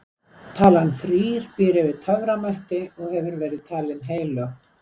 talan þrír býr yfir töframætti og hefur verið talin heilög